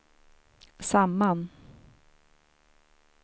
samman